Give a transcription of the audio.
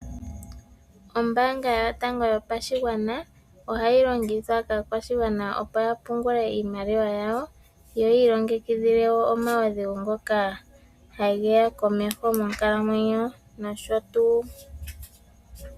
Ombaanga yotango yopashigwana ohayi longithwa kaakwashigwana, opo ya pungule iimaliwa yawo, yo yi ilongekidhile wo omaudhigu ngoka hageya komeho monkalamwenyo nosho tuu.